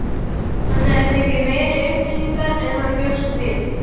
Hann hafði fengið meiri upplýsingar en hann bjóst við.